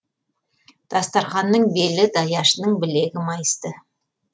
дастарқанның белі даяшының білегі майысты